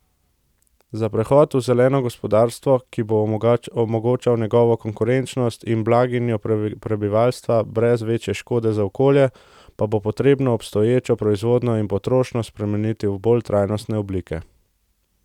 Za prehod v zeleno gospodarstvo, ki bo omogočal njegovo konkurenčnost in blaginjo prebivalstva brez večje škode za okolje, pa bo potrebno obstoječo proizvodnjo in potrošnjo spremeniti v bolj trajnostne oblike.